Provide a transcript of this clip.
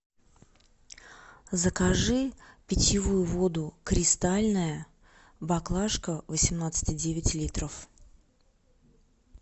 закажи питьевую воду кристальная баклажка восемнадцать и девять литров